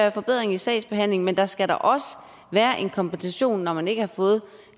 en forbedring af sagsbehandlingen men der skal også være en kompensation når man ikke har fået